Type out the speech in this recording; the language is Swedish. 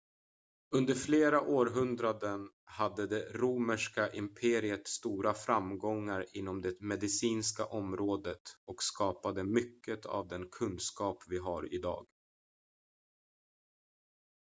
under flera århundraden hade det romerska imperiet stora framgångar inom det medicinska området och skapade mycket av den kunskap vi har idag